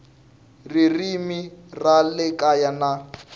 ririmi ra le kaya na